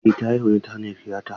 Eh ta haihu ne ta hanyar tiyata.